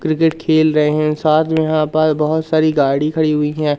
Cricket खेल रहे हैं साथ में यहां पास बहोत सारी गाड़ी खड़ी हुई है।